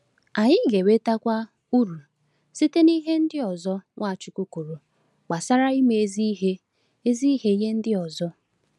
Anyị ga-enwetakwa uru site n’ihe ndị ọzọ Nwachukwu kwuru gbasara ime ezi ihe ezi ihe nye ndị ọzọ.